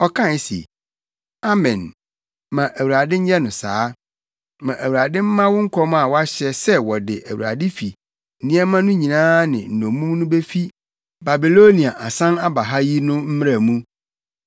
Ɔkae se, “Amen! Ma Awurade nyɛ no saa! Ma Awurade mma wo nkɔm a woahyɛ sɛ wɔde Awurade fi nneɛma no nyinaa ne nnommum no befi Babilonia asan aba ha yi no mmra mu.